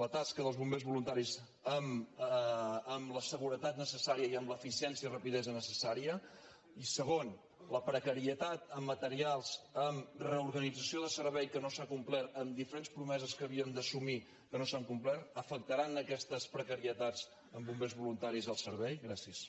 la tasca dels bombers voluntaris amb la seguretat necessària i amb l’eficiència i rapidesa necessàries i segon la precarietat en materials en reorganització de servei que no s’ha complert amb diferents promeses que havien d’assumir que no s’han complert afectaran aquestes precarietats en bombers voluntaris el servei gràcies